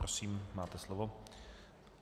Prosím, máte slovo.